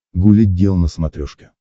гуля гел на смотрешке